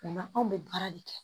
O la anw bɛ baara de kɛ